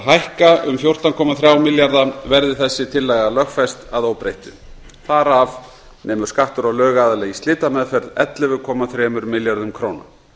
hækka um fjórtán komma þrjú milljarða verði þessi tillaga lögfest að óbreyttu þar af nemur skattur á lögaðila í slitameðferð ellefu komma þrjú milljörðum króna